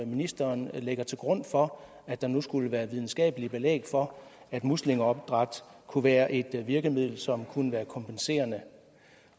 ministeren lægger til grund for at der nu skulle være videnskabeligt belæg for at muslingeopdræt kunne være et virkemiddel som kunne være kompenserende